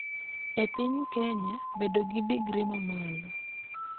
E piny Kenya, bedo gi digri ma malo .